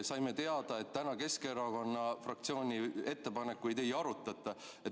Saime teada, et täna Keskerakonna fraktsiooni ettepanekuid ei arutata.